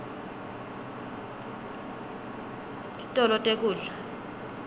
titolo tekudla